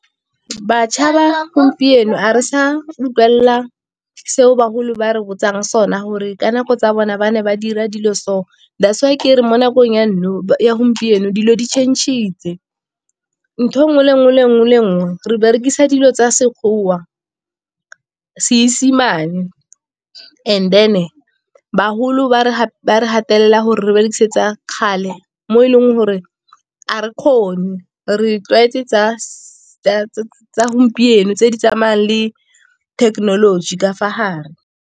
Bašwa ba gompieno ga re sa utlwella seo bagolo ba re botsang sone gore ka nako tsa bona ba ne ba dira dilo so, that's why kere mo nakong ya gompieno dilo di change-itse ntho e nngwe le nngwe le nngwe le nngwe re berekisa dilo tsa Sekgowa, Seesimane and then-e bagolo re ba gatelela gore re berekise tsa kgale mo e leng gore a re kgone re tlwaetse tsa gompieno tse di tsamayang le thekenoloji ka fa gare.